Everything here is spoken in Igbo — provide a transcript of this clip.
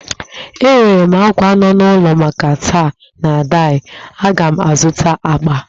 Enwere m àkwá nọ n'ulọ maka taị na daị, aga m azụta agbà